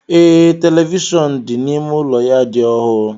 Ee, televishọọnu dị n'ime ụlọ ya dị ọhụụ.